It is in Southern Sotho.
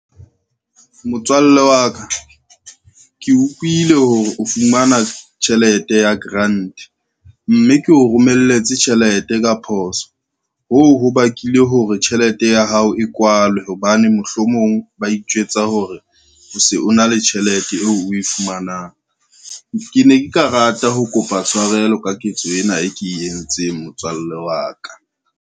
Motswalle wa ka, ke utlwile hore o fumana tjhelete ya grant, mme ke o romelletse tjhelete ka phoso hoo ho bakileng hore tjhelete ya hao e kwalwe hobane mohlomong ba itjwetsa hore o se o na le tjhelete eo o e fumanang. Ke ne ke ka rata ho kopa tshwarelo ka ketso ena, e ke entseng motswalle wa ka.